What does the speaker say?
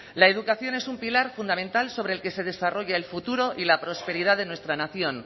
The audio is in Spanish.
la educación es un pilar fundamental sobre el que se desarrolla el futuro y la prosperidad de nuestra nación